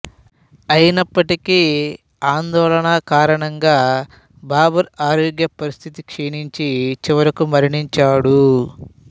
అయినప్పటికీ ఆందోళన కారణంగా బాబర్ ఆరోగ్యపరిస్థితి క్షీణించి చివరకు మరణించాడు